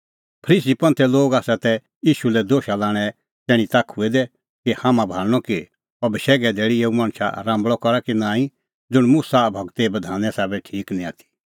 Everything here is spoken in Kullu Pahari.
फरीसी तै ईशू लै दोशा लाणें तैणीं ताखुऐ दै कि हाम्हां भाल़णअ कि अह बशैघे धैल़ी एऊ मणछा राम्बल़अ करा कि नांईं ज़ुंण मुसा गूरे बधाने साबै ठीक निं आथी